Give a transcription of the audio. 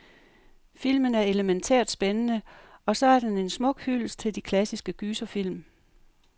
Filmen er elemæntært spændende, og så er den en smuk hyldest til de klassiske gyserfilm.